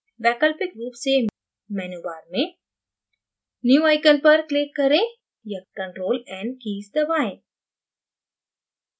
वैकल्पिक रूप से menu bar में new icon पर click करें या ctrl + n कीज़ दबाएँ